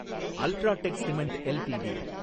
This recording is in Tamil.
UltraTech cement LTD